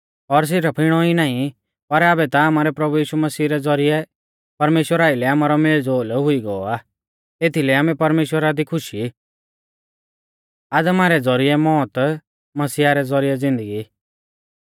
और सिरफ इणौ ई नाईं पर आबै ता आमारै प्रभु यीशु मसीह रै ज़ौरिऐ परमेश्‍वरा आइलै आमारौ मेलज़ोल हुई गौ आ एथीलै आमै परमेश्‍वरा दी खुश ई